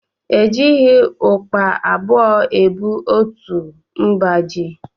E jighị ukpa abụọ ebu otu mba ji